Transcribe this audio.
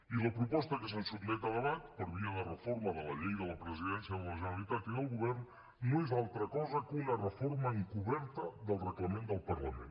i la proposta que se’ns sotmet a debat per via de reforma de la llei de la presidència de la generalitat i del govern no és altra cosa que una reforma encoberta del reglament del parlament